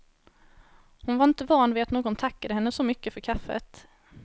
Hon var inte van vid att någon tackade henne så mycket för kaffet.